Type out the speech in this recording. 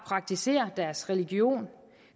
praktisere deres religion